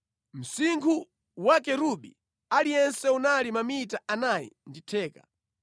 Msinkhu wa kerubi aliyense unali mamita anayi ndi theka.